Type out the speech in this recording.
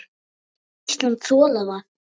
Hefði Ísland þolað það?